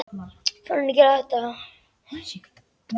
Á leiðinni ræða þeir um knattspyrnu og stelpur.